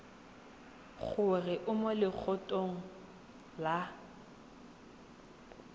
gore o mo legatong la